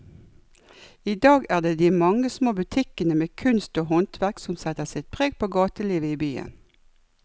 I dag er det de mange små butikkene med kunst og håndverk som setter sitt preg på gatelivet i byen.